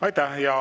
Aitäh!